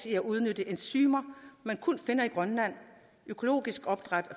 i at udnytte enzymer man kun finder i grønland økologisk opdræt af